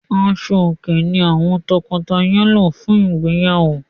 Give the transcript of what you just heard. Aṣò-òkè ní àwọn lọ́kọláya lò fún ìgbéyàwó.